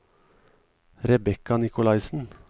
Rebecca Nicolaisen